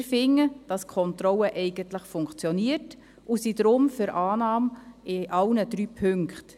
Wir finden, dass die Kontrolle eigentlich funktioniert, und sind darum für die Annahme in allen drei Punkten.